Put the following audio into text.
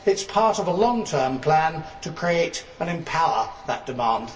It is part of a long term plan to create and empower that demand.